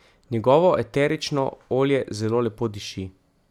Njegovo eterično olje zelo lepo diši.